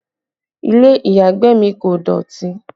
Ilé ìyàgbẹ̀ mi kò dọ̀tí